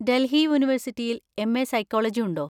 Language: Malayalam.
ഡൽഹി യൂണിവേഴ്‌സിറ്റിയിൽ എം. എ സൈക്കോളജി ഉണ്ടോ?